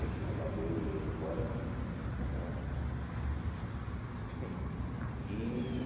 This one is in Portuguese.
Aí fui mandado eu e ele embora, né? E